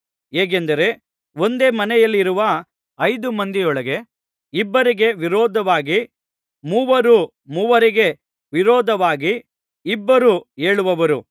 ಹೇಗೆಂದರೆ ಒಂದೇ ಮನೆಯಲ್ಲಿರುವ ಐದು ಮಂದಿಯೊಳಗೆ ಇಬ್ಬರಿಗೆ ವಿರೋಧವಾಗಿ ಮೂವರು ಮೂವರಿಗೆ ವಿರೋಧವಾಗಿ ಇಬ್ಬರೂ ಏಳುವರು